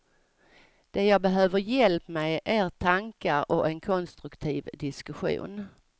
Det jag behöver hjälp med är tankar och en konstruktiv diskussion.